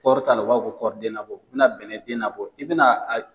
Kɔɔri ta la , u b'a fɔ ko kɔɔrden nabɔ, u bɛ na bɛnɛ den nabɔ i bɛ na a